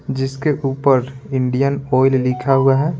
जिसके ऊपर Indian Oil लिखा हुआ है।